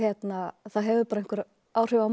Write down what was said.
það hefur bara einhver áhrif á mann